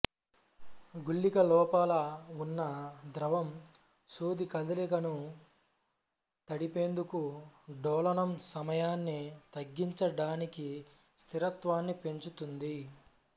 గుళిక లోపల ఉన్న ద్రవం సూది కదలికను తడిపేందుకు డోలనం సమయాన్ని తగ్గించడానికి స్థిరత్వాన్ని పెంచుతుంది